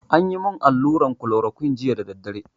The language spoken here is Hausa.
Anyi mun allura kolorokuine jiya da daddare